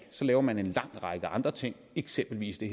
så laver man en lang række andre ting eksempelvis det